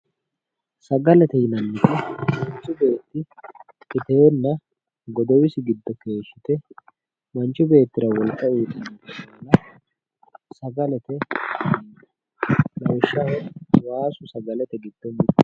Sagalete yinanniti mancuh beetti iteenna godowisi giddo keeshshite manchi beettira wolqa uyiitaonnte lawishshaho waasu sagalete giddo mittoho